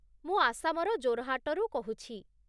ମୁଁ ଆସାମର ଜୋରହାଟରୁ କହୁଛି ।